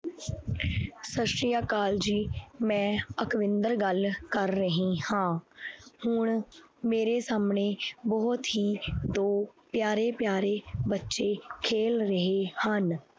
ਸਤਿ ਸ੍ਰੀ ਅਕਾਲ ਜੀ ਮੈਂ ਅਕਵਿੰਦਰ ਗੱਲ ਕਰ ਰਹੀ ਹਾਂ ਹੁਣ ਮੇਰੇ ਸਾਹਮਣੇ ਬਹੁਤ ਹੀ ਦੋ ਪਿਆਰੇ ਪਿਆਰੇ ਬੱਚੇ ਖੇਲ ਰਹੇ ਹਨ।